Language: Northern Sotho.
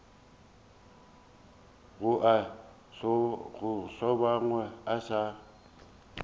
ga a hlobogwe a sa